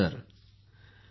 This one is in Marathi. भाई प्रेम